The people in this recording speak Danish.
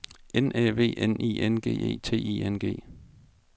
N Æ V N I N G E T I N G